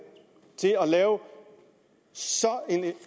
til at lave så